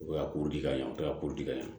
U bɛ ka ko di ka ɲɛ u kɛla ko di ka ɲɛ